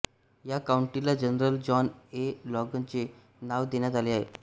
या काउंटीला General John A लोगनचे नाव देण्यात आले आहे